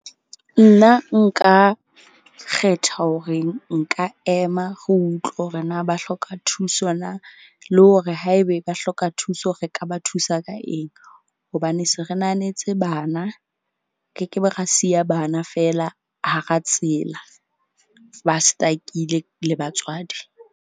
Nna nka kgetha hore nka ema re utlwe hore na ba hloka thuso na le hore haebe ba hloka thuso, re ka ba thusa ka eng. Hobane se re nahanetse bana ke ke be ra siya bana fela hara tsela ba stuck-ile le batswadi.